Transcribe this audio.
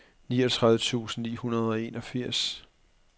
niogtredive tusind ni hundrede og enogfirs